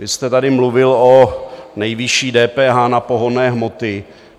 Vy jste tady mluvil o nejvyšší DPH na pohonné hmoty.